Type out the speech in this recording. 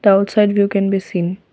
road side view can be seen.